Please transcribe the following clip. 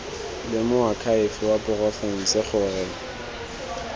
le moakhaefe wa porofense gore